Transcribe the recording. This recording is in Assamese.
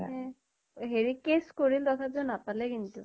স হেৰি case কৰিল, তথাপিও নাপালে কিন্তু।